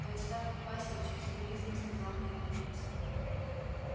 аристарх ипатьевич с укоризной сказал бедренец